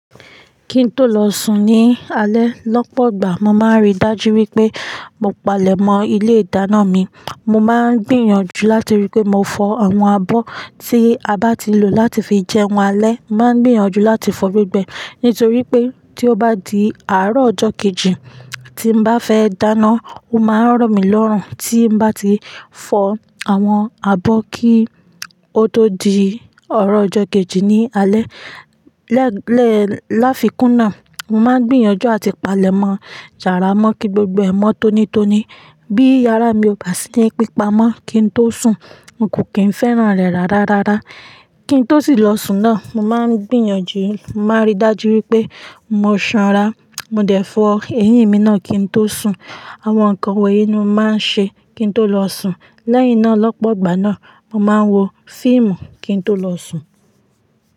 Kí n tó lọ sùn ní alẹ́ lọ́pọ̀gbà mo máa ń rí dájú wípé mo palẹ̀mọ́ ilé ìdáná mi. Mo máa ń gbìyànjú láti rí pé mo fọ àwọn abọ́ tí a bá ti lò láti fi jẹun alẹ́. Mo máa ń gbìyànjú láti fọ gbogbo ẹ ni toripe tí ó bá di àárọ̀ ọjọ́ kejì tí n bá fẹ́ dáná, ó máa ń ràn mí lọ́rùn tí n bá ti fọ àwọn abọ́ kí ó tó di ọrọ̀ ọjọ́ kejì ní alẹ́. Lẹ́ẹ̀, láfikún náà, mo máa ń gbìyànjú àti palẹ̀mọ́ yara mọ́ kí gbogbo ẹ̀ mọ́ tónítóni. Bí yàrá mi ò bá sí ní pípa mọ́ kí n tó sùn, n kò kí n fẹ́ràn rẹ̀ rárá rárá. Kí n tó sì lọ sùn náà, mo máa ń gbìyànjú, mo máa ń rí dájú wípé mo sanra. Mo dẹ̀ fọ eyín mi náà kí n tó sùn. Àwọn nǹkan wonyin ni mo máa ń ṣe kí n tó lọ sùn. Lẹ́yìn náà, lọ́pọ̀gbà náà, mo máa ń wo fíìmù kí n tó lọ sùn.